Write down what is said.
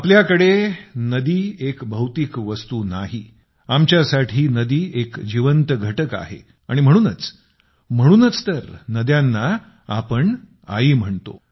आमच्या इथे नदी एक भौतिक वस्तू नाही आहे आमच्यासाठी नदी एक जिवंत एकक आहे आणि म्हणूनच म्हणूनच तर नद्यांना आम्ही आई म्हणतो